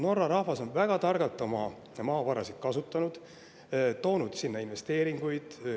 Norra rahvas on väga targalt oma maavarasid kasutanud, toonud investeeringuid.